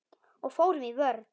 Og fórum í vörn.